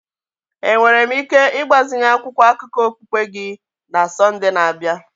Enwere m ike ịgbazinye akwụkwọ akụkọ okpukpe gị na Sọnde na-abịa?